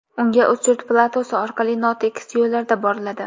Unga Ustyurt platosi orqali notekis yo‘llarda boriladi.